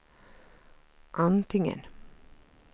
antingen